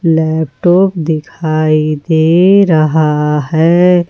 Laptop दिखाई दे रहा है।